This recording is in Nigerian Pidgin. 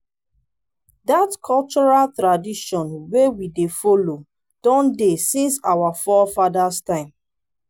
dat cultural tradition wey we dey follow don dey since our forefathers time